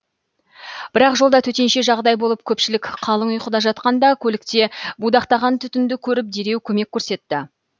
бірақ жолда төтенше жағдай болып көпшілік қалың ұйқыда жатқанда көлікте будақтаған түтінді көріп дереу көмек көрсетті